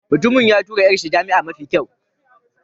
Mutumin ya tura 'yar shi jami'a mafi kyau.